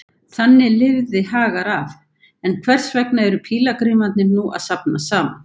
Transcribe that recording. Þannig lifði Hagar af, en hvers vegna eru pílagrímarnir nú að safnast saman?